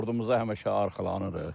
Ordumuza həmişə arxalanırıq.